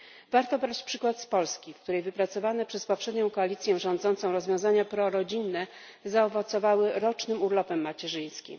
Warto brać przykład z Polski, w której wypracowane przez poprzednią koalicję rządzącą rozwiązania prorodzinne zaowocowały rocznym urlopem macierzyńskim.